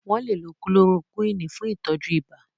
Wọ́n lè lo kulorokúìnì fún ìtọ́jú ibà.